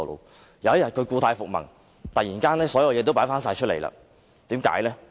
但是，有一天他故態復萌，突然把所有東西都擺放出來。